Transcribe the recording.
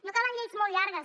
no calen lleis molt llargues